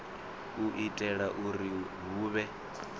u itela uri hu vhe